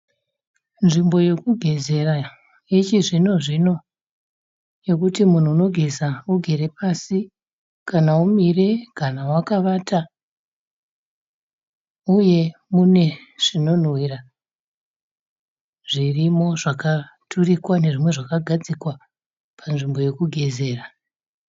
Nzvimbo yekugezera yechizvinozvino yekuti munhu unogeza ugere pasi kana umire kana wakavata uye mune zvinonhuwira zvirimo zvakaturikwa nezvimwe zvakagadzikwa panzvimbo yekugezera.